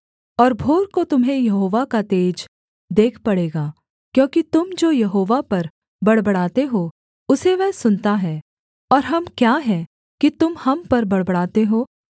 और भोर को तुम्हें यहोवा का तेज देख पड़ेगा क्योंकि तुम जो यहोवा पर बड़बड़ाते हो उसे वह सुनता है और हम क्या हैं कि तुम हम पर बड़बड़ाते हो